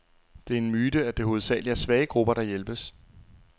Det er en myte, at det hovedsageligt er svage grupper, der hjælpes.